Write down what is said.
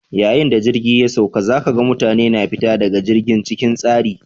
Yayin da jirgi ya sauka, za ka ga mutane na fita daga jirgin cikin tsari.